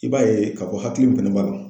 I b'a ye k'a fɔ hakili pɛnɛ b'a dɔn